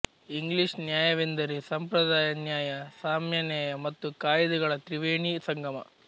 English ನ್ಯಾಯವೆಂದರೆ ಸಂಪ್ರದಾಯ ನ್ಯಾಯ ಸಾಮ್ಯ ನ್ಯಾಯ ಮತ್ತು ಕಾಯಿದೆಗಳ ತ್ರಿವೇಣೀ ಸಂಗಮ